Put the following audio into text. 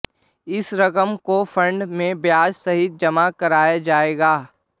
इस रकम को फंड में ब्याज सहित जमा कराया जाएगा